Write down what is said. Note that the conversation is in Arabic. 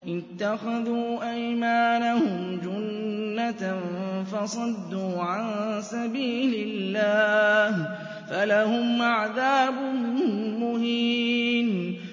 اتَّخَذُوا أَيْمَانَهُمْ جُنَّةً فَصَدُّوا عَن سَبِيلِ اللَّهِ فَلَهُمْ عَذَابٌ مُّهِينٌ